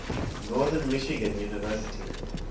northern michigan university